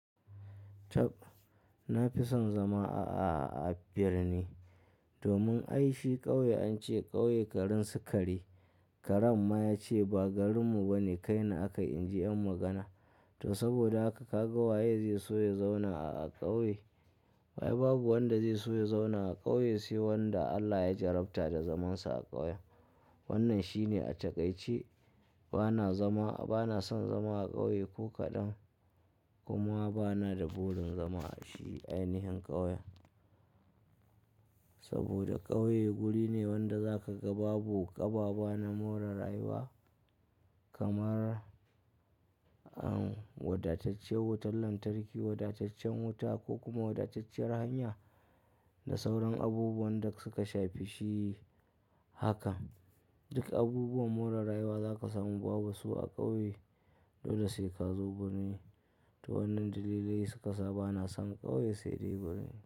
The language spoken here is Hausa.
Tabb! Na fi son zama a, a, a birni. Domin ai shi ƙauye an ce ƙauye garin su kare. Karen ma ya ce ba garinmu bane kai ni aka yi in ji 'yan magana. To saboda haka ka ga waye zai so ya zauna a, a ƙauye? Ai babu wanda zai so ya zauna a ƙauye sai wanda Allah ya jarabta da zamansa a ƙauye. Wannan shine a takaice. Bana zama a, bana son zama a ƙauye ko kaɗan kuma bana da burin zama a shi ainihin ƙauyen. Saboda ƙauye guri ne wanda za ka ga babu kaba-baba na more rayuwa kamar, um, wadatacciyar wutar lantarki, wadataccen wuta ko kuma wadatacciyar hanya da sauran abubuwan da suka shafi shi haka. Duk abubuwan more rayuwa za ka samu babu su a ƙauye, dole sai ka zo birni. To wannan dalilai suka sa bana son ƙauye sai dai birni.